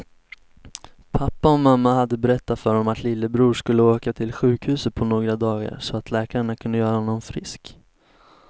Pappa och mamma hade berättat för honom att lillebror skulle åka till sjukhuset på några dagar så att läkarna kunde göra honom frisk.